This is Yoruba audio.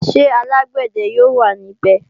Ṣé alágbàdẹ yóò wà ní bè?